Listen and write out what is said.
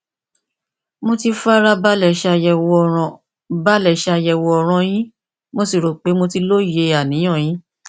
mo ti fara balè ṣàyèwò ọràn balè ṣàyèwò ọràn yínmo sì rò pé mo ti lóye àníyàn yín